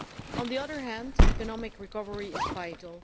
On the other hand, economic recovery is vital.